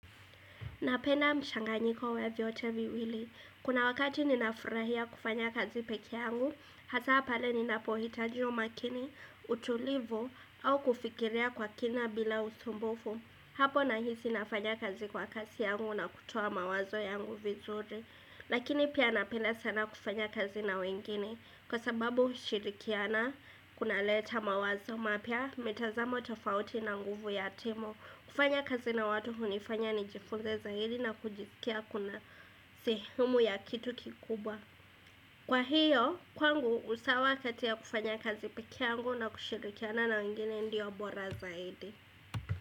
Napenda mchanganyiko wa vyote viwili. Kuna wakati ninafurahia kufanya kazi pekee yangu, hasa pale ninapo hitaji umakini, utulivu, au kufikiria kwa kina bila usumbufu. Hapo nahisi nafanya kazi kwa kazi yangu na kutoa mawazo yangu vizuri. Lakini pia napenda sana kufanya kazi na wengine kwa sababu shirikiana, kuna leta mawazo mapya, mitazamo tofauti na nguvu yatimo. Kufanya kazi na watu hunifanya ni jifunze zaidi na kujisikia kuna sehemu ya kitu kikubwa Kwa hiyo, kwangu usawa kati ya kufanya kazi pekee yangu na kushirkiana na wengine ndio bora zaidi.